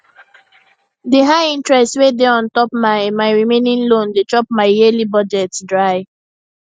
the high interest wey dey on top my my remaining loan dey chop my yearly budget dry